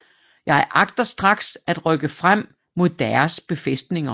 Jeg agter straks at rykke frem mod Deres befæstninger